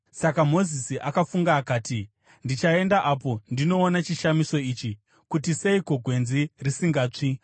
Saka Mozisi akafunga akati, “Ndichaenda apo ndinoona chishamiso ichi, kuti seiko gwenzi risingatsvi.”